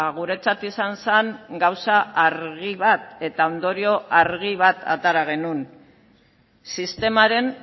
guretzat izan zen gauza argi bat eta ondorio argi bat atera genuen sistemaren